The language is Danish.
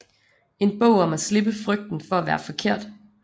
En bog om at slippe frygten for at være forkert